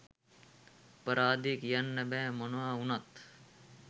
අපරාදෙ කියන්න බෑ මොනව උනත්